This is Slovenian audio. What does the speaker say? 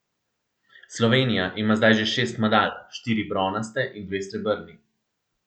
Slovenija ima zdaj že šest medalj, štiri bronaste in dve srebrni.